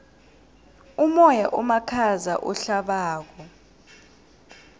umoya omakhaza ohlabako